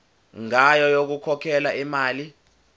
ngayo yokukhokhela imali